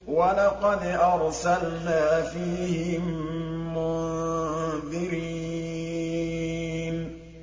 وَلَقَدْ أَرْسَلْنَا فِيهِم مُّنذِرِينَ